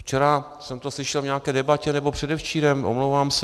Včera jsem to slyšel v nějaké debatě, nebo předevčírem, omlouvám se.